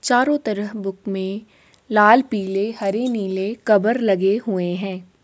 चारों तरह बुक में लाल पीले हरे नीले कबर लगे हुए हैं।